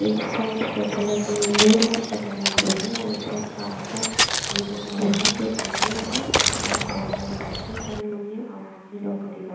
एक side shutter लगी हुई दोनों साइड शटर लगी हुए हैं और एक साइड कांच का गेट लगा हुआ है जो ए_टी_एम हैं बाहर बहोत सारी बाइकें खड़ी हुई है और आदमी लोग खड़े हुए--